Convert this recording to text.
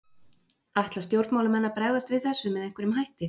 Ætla stjórnmálamenn að bregðast við þessu með einhverjum hætti?